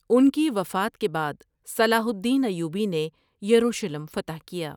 ان کی وفات کے بعد صلاح الدین ایوبی نے یروشلم فتح کیا ۔